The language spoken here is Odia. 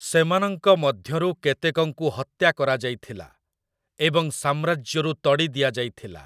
ସେମାନଙ୍କ ମଧ୍ୟରୁ କେତେକଙ୍କୁ ହତ୍ୟା କରାଯାଇଥିଲା, ଏବଂ ସାମ୍ରାଜ୍ୟରୁ ତଡ଼ି ଦିଆଯାଇଥିଲା ।